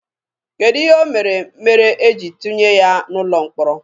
Kedụ ihe o mere mere e jiri tụnye ya n'ụlọ mkpọrọ?